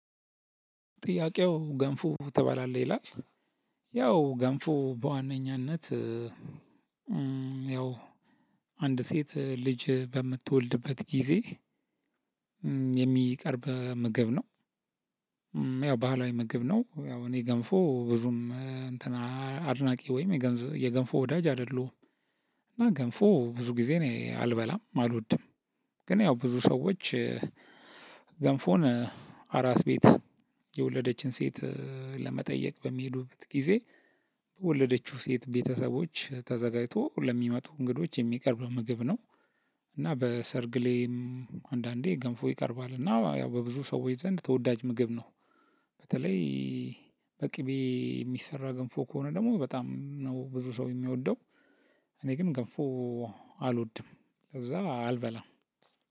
ጥያቄው ገንፎ ትባላለህ ይላል? ያው ገንፉ በዋነኛነት ያው አንድ ሴት ልጅ በምትወልድበት ጊዜ የሚቀርብ ምግብ ነው። ያው ባህላዊ ምግብ ነው ያው እኔ ገንፎ ብዙም እንትን አድናቂ ወይም የገንፎ ወዳጅ አይደለሁም። እና ገንፎ ብዙ ጊዜ እኔ አልበላም አልወድም። ግን ያው ብዙ ሰዎች ገንፎን አራስ ቤት የወለደችን ሴት ለመጠየቅ በሚሄዱበት ጊዜ የወለደችው ሴት ቤተሰቦች ተዘጋጅቶ ለሚመጡ እንግዶች የሚቀርብ ምግብ ነው። እና በሰርግ ላይም አንዳንዴ ገንፎ ይቀርባል እና ያው በብዙ ሰዎች ዘንድ ተወዳጅ ምግብ ነው። በተለይ በቅቤ የሚሰራ ገንፎ ከሆነ ደግሞ በጣም ነው ብዙ ሰው የሚወደው። እኔ ግን ገንፎ አልወድም ለዛ አልበላም።